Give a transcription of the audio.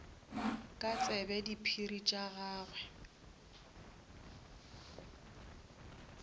ke tsebe diphiri tša gagwe